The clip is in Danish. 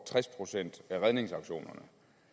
tres procent af redningsaktionerne